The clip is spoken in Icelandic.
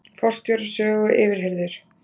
Forstjóri Sögu yfirheyrður